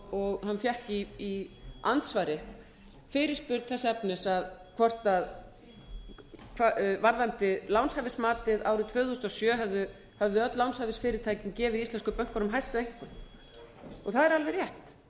hana fékk í andsvari fyrirspurn þess efnis varðandi lánshæfismatið árið tvö þúsund og sjö höfðu öll lánshæfisfyrirtækin gefið íslensku bönkunum hæstu einkunn það er alveg rétt